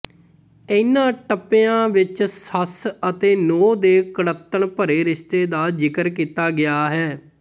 ਇਨ੍ਹਾਂ ਟੱਪਿਆਂ ਵਿੱਚ ਸੱਸ ਅਤੇ ਨੂੰਹ ਦੇ ਕੁੜਤਣ ਭਰੇ ਰਿਸ਼ਤੇ ਦਾ ਜ਼ਿਕਰ ਕੀਤਾ ਗਿਆ ਹੈ